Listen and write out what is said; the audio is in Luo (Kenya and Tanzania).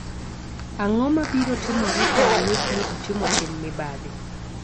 Ang'o mabiro timore ka oyud ni otimo tim mibadhi?